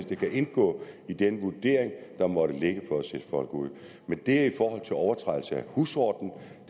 det kan indgå i den vurdering der måtte ligge for at sætte folk ud men det er i forhold til overtrædelser af husordenen